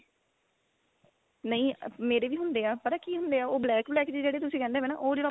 ਨਹੀਂ ਮੇਰੇ ਵੀ ਹੁੰਦੇ ਆ ਪਤਾ ਕੀ ਹੁੰਦੇ ਆ black black ਜੇ ਜਿਹੜੇ ਤੁਸੀਂ ਕਹਿੰਦੇ ਪਏ ਨਾ ਉਹ ਜਿਹੜਾ